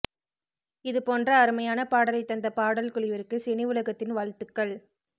இது போன்ற அருமையான பாடலை தந்த பாடல் குழுவிற்கு சினிஉலகத்தின் வாழ்த்துக்கள்